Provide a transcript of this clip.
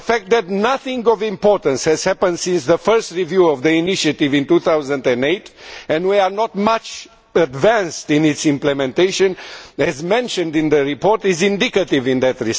The fact that nothing of importance has happened since the first review of the initiative in 2008 and we are not very far advanced in its implementation as mentioned in the report is indicative of that.